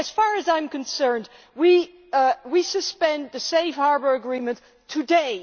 As far as I am concerned, we should suspend the Safe Harbour Agreement today.